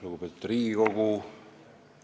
Lugupeetud Riigikogu!